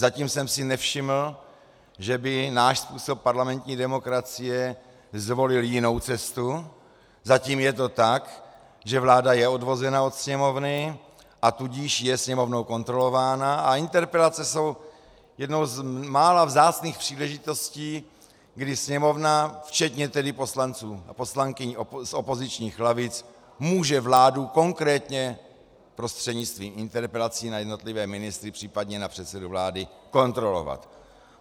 Zatím jsem si nevšiml, že by náš způsob parlamentní demokracie zvolil jinou cestu, zatím je to tak, že vláda je odvozena od Sněmovny, a tudíž je Sněmovnou kontrolována, a interpelace jsou jednou z mála vzácných příležitostí, kdy Sněmovna, včetně tedy poslanců a poslankyň z opozičních lavic, může vládu konkrétně prostřednictvím interpelací na jednotlivé ministry, případně na předsedu vlády, kontrolovat.